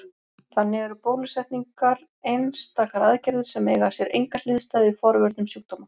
Þannig eru bólusetningar einstakar aðgerðir sem eiga sér enga hliðstæðu í forvörnum sjúkdóma.